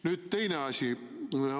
Nüüd teine asi.